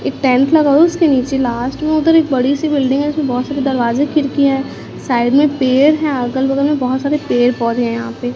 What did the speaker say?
एक टेंट लगा हुआ है उसके नीचे लास्ट में उधर एक बड़ी सी बिल्डिंग है इसमें बहुत सारी दरवाज़ें खिड़कियाँ है साइड में पेड़ है अगल बगल में बहोत सारे पेड़- पौधे है यहाँ पे।